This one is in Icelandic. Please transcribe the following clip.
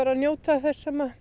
njóta þess sem að